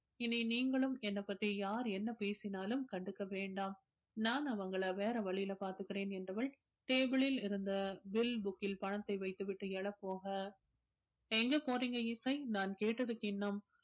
இனி நீங்களும் என்ன பத்தி யார் என்ன பேசினாலும் கண்டுக்க வேண்டாம் நான் அவங்கள வேற வழியில பாத்துக்குறேன் என்றவள் table ளில் இருந்த bill book கில் பணத்தை வைத்துவிட்டு எழப்போக எங்க போறீங்க இசை நான் கேட்டதுக்கு இன்னும்